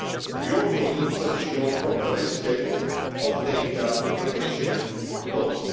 We also need to ensure proper respect of data protection laws.